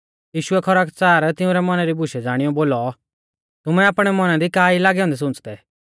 यीशुऐ खरकच़ार तिउंरै मौना री बुशै ज़ाणीऔ बोलौ तुमै आपणै मौना दी का ई लागै औन्दै सुंच़दै